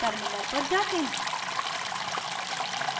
terminal पर जाते हैं